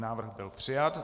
Návrh byl přijat.